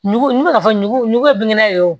Ɲugu n me ka fɔ ɲugu ɲugu ye binkɛnɛ ye wo